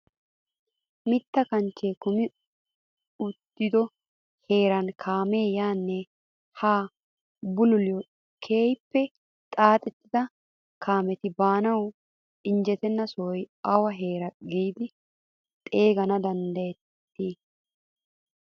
Mitta kanchchee kumi uttido heeran kaamee yaanne haa bululiyoo keehippe xaaxettidi kaameti baanawu injjetenna sohuwaa awa heeraa giidi xeeganawu danddayettii?